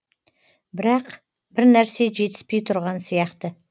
бірақ бірнәрсе жетіспей тұрған сияқты